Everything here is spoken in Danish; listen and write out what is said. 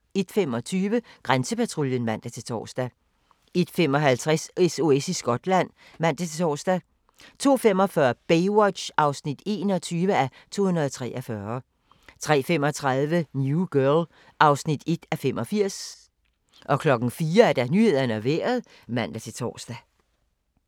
01:25: Grænsepatruljen (man-tor) 01:55: SOS i Skotland (man-tor) 02:45: Baywatch (21:243) 03:35: New Girl (1:85) 04:00: Nyhederne og Vejret (man-tor)